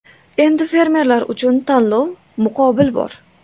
Endi fermerlar uchun tanlov, muqobil bor.